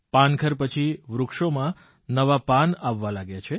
પાનખર પછી વૃક્ષોમાં નવા પાન આવવાં લાગ્યા છે